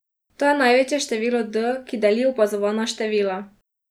To je največje število D, ki deli opazovana števila.